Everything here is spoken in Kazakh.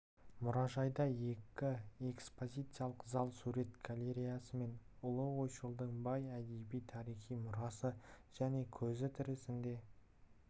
мұражайда екі экспозициялық зал сурет галереясы мен ұлы ойшылдың бай әдеби тарихи мұрасы және көзі тірісінде